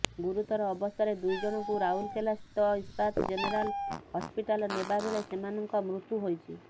ଗୁରୁତର ଅବସ୍ଥାରେ ଦୁଇ ଜଣଙ୍କୁ ରାଉରକେଲାସ୍ଥିତ ଇସ୍ପାତ ଜେନେରାଲ ହସପିଟାଲ ନେବା ବେଳେ ସେମାନଙ୍କ ମୃତ୍ୟୁ ହୋଇଛି